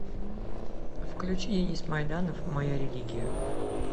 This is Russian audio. включи денис майданов моя религия